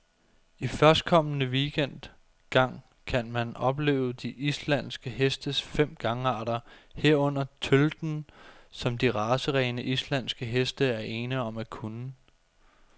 I førstkommende weekend gang kan man opleve de islandske hestes fem gangarter, herunder tølten, som de racerene, islandske heste er ene om at kunne.